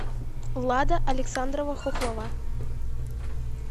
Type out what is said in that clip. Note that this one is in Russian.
лада александрова хохлова